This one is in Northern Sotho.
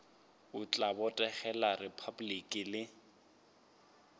o tla botegela repabliki le